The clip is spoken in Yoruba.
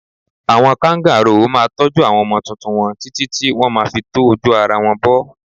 Àwọn káǹgàroò máa ń tọ́jú àwọn ọmọ tuntun wọn títí tí wọn má fi tó ara wọn bo.